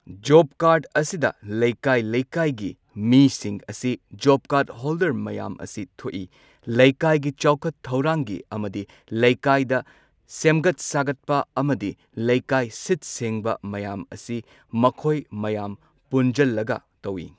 Job card ꯑꯁꯤꯗ ꯂꯩꯀꯥꯏ ꯂꯩꯀꯥꯏꯒꯤ ꯃꯤꯁꯤꯡ ꯑꯁꯤ ꯖꯣꯕ ꯀꯥꯔꯗ ꯍꯣꯜꯗꯔ ꯃꯌꯥꯝ ꯑꯁꯤ ꯊꯣꯛꯏ꯫ ꯂꯩꯀꯥꯏꯒꯤ ꯆꯥꯎꯈꯠ ꯊꯧꯔꯥꯡꯒꯤ ꯑꯃꯗꯤ ꯂꯩꯀꯥꯏꯗ ꯁꯦꯝꯒꯠ ꯁꯥꯒꯠꯄ ꯑꯃꯗꯤ ꯂꯩꯀꯥꯏ ꯁꯤꯠ ꯁꯦꯡꯕ ꯃꯌꯥꯝ ꯑꯁꯤ ꯃꯈꯣꯏ ꯃꯌꯥꯝ ꯄꯨꯟꯖꯜꯂꯒ ꯇꯧꯏ꯫